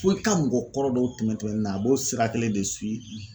Fo i ka mɔgɔ kɔrɔ dɔw tɛmɛn ni na a b'o sira kelen de siwi